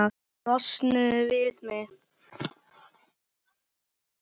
Losnuðu við mig!